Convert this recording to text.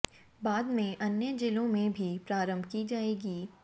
बाद में अन्य जिलों में भी प्रारंभ की जाएगी